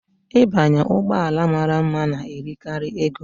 Ịbanye ụgbọ ala mara mma na-eri karị ego.